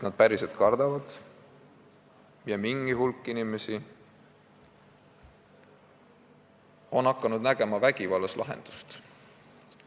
Nad päriselt kardavad ja mingi hulk inimesi on hakanud vägivallas lahendust nägema.